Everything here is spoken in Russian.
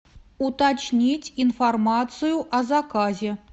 уточнить информацию о заказе